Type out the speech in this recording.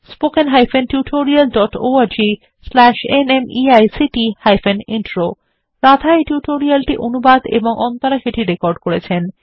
spoken hyphen tutorial dot org slash ন্মেইক্ট hyphen intro Radha এই tutorial টি অনুবাদ এবং অন্তরা সেটি রেকর্ড করেছেন